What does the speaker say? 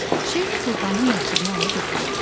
Şeyx Sultanın məktubunu alıb oxudu.